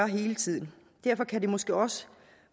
hele tiden derfor kan det måske også